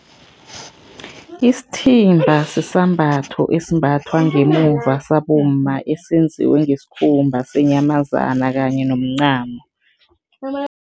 Isithimba sisambatho esimbathwa ngemuva, sabomma, esenziwe ngesikhumba senyamazana kanye nomncamo.